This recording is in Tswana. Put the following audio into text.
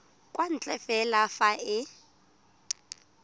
kwa ntle fela fa e